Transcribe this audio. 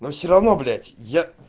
но все равно блять я